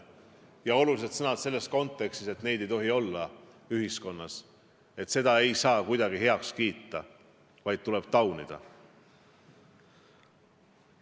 Te kasutasite neid selles kontekstis, et neid ei tohi ühiskonnas olla, sellist asja ei saa kuidagi heaks kiita, vaid tuleb taunida.